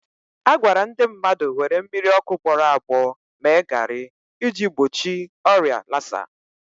A gwara ndị mmadụ were mmiri ọkụ gbọrọ agbọ mee garị iji gbochi ọrịa lasa